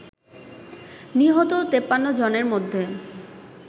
নিহত ৫৩ জনের মধ্যে